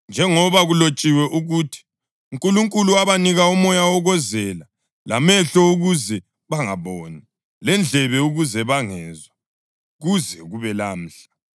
njengoba kulotshiwe ukuthi: “UNkulunkulu wabanika umoya wokozela, lamehlo ukuze bangaboni, lendlebe ukuze bangezwa, kuze kube lamhla.” + 11.8 UDutheronomi 29.4; U-Isaya 29.10